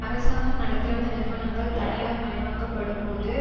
அரசாங்கம் நடத்திவந்த நிறுவனங்கள் தனியார் மயமாக்கப்படும்போது